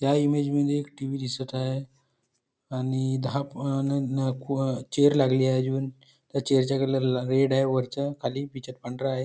ह्या इमेज मध्ये एक टी_व्ही दिसत आहे आणि दहा नननणण चेअर लागली आहे त्या चेअर च्या खाली रेड आहे वरच्या त्याच्या खाली पिछात पांढरा आहे